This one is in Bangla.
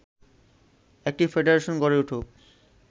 একটি ফেডারেশন গড়ে উঠুক